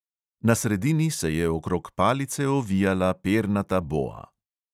Na sredini se je okrog palice ovijala pernata boa.